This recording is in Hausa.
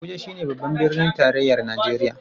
Abuja shi ne Babban Birnin Tarayyar Najeriya.